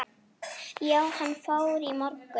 Já, hann fór í morgun